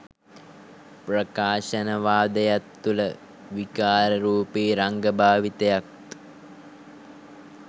ප්‍රකාශනවාදයත් තුළ විකාරරූපී රංග භාවිතයත්